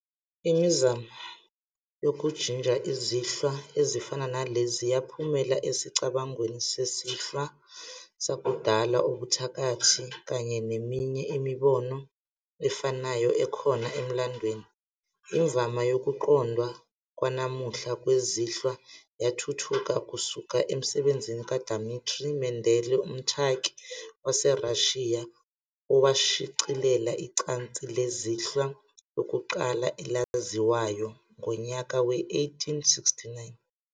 Imizamo yokujinja izinhlwa ezifana nalezi yaphumela esicabangweni sezinhlwa zakudala, ubuthakathi, kanye neminye imibono efanayo ekhona emlandweni. Imvama yokuqondwa kwanamuhla kwezinhlwa yathuthuka kusuka emsebenzini kaDimitri Mendele, umthaki waseRashiya owashicilela icansi lezinhlwa lokuqala elaziwayo ngonyaka we-1869.